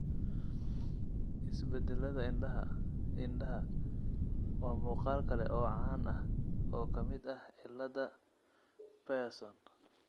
Isbeddellada indhaha (indhaha) waa muuqaal kale oo caan ah oo ka mid ah cillada Pierson.